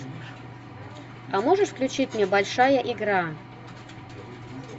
а можешь включить мне большая игра